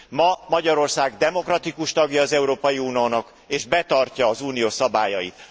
Ma Magyarország demokratikus tagja az Európai Uniónak és betartja az Unió szabályait.